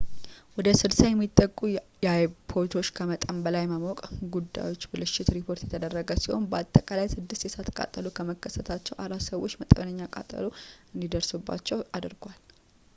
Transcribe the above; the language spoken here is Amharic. ወደ 60 የሚጠጉ የአይፖዶች ከመጠን በላይ መሞቅ ጉዳዮች ብልሽት ሪፖርት የተደረጉ ሲሆን በአጠቃላይ ስድስት የእሳት ቃጠሎዎች በመከሰታቸው አራት ሰዎችን መጠነኛ ቃጠሎ እንዲደርስባቸው አድርጓል